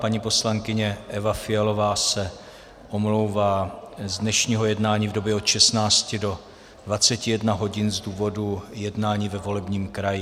Paní poslankyně Eva Fialová se omlouvá z dnešního jednání v době od 16 do 21 hodin z důvodu jednání ve volebním kraji.